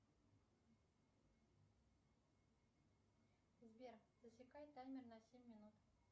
сбер засекай таймер на семь минут